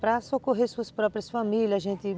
para socorrer suas próprias famílias, a gente